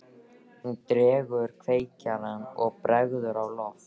Hún dregur upp kveikjara og bregður á loft.